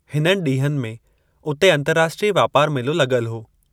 हिननि ॾींहनि में उते अंतरराष्ट्रीय वापार मेलो लग॒ल हो।